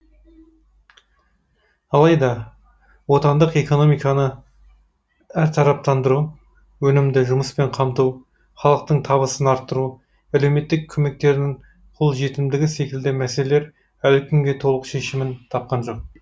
алайда отандық экономиканы әртараптандыру өнімді жұмыспен қамту халықтың табысын арттыру әлеуметтік көмектердің қол жетімдігі секілді мәселелер әлі күнге толық шешімін тапқан жоқ